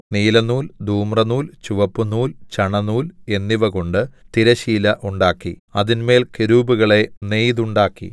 നീലനൂൽ ധൂമ്രനൂൽ ചുവപ്പുനൂൽ ചണനൂൽ എന്നിവകൊണ്ടു തിരശ്ശീല ഉണ്ടാക്കി അതിന്മേൽ കെരൂബുകളെ നെയ്തുണ്ടാക്കി